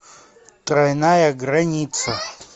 тройная граница